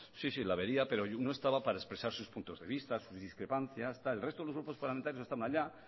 sí sí la vería pero no estaba para expresar sus puntos de vista sus discrepancias tal el resto de los grupos parlamentarios estaba allá